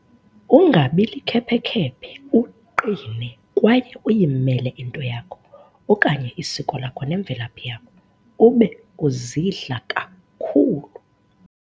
Ungabi likhephe khephe uqine kwaye uyimele into yakho okanye isiko lakho nemvelaphi yakho ube uzidla kakhulu.